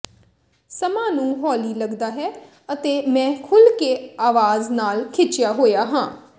ਸਮਾਂ ਨੂੰ ਹੌਲੀ ਲੱਗਦਾ ਹੈ ਅਤੇ ਮੈਂ ਖੁੱਲ੍ਹ ਕੇ ਆਵਾਜ਼ ਨਾਲ ਖਿਚਿਆ ਹੋਇਆ ਹਾਂ